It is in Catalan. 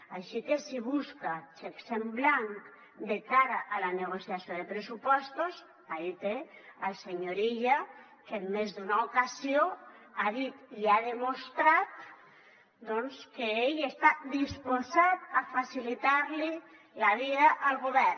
així que si busca xecs en blanc de cara a la negociació de pressupostos ahí té el senyor illa que en més d’una ocasió ha dit i ha demostrat doncs que ell està disposat a facilitar li la vida al govern